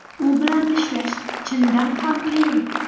U bilan ishlash chindan ham qiyin.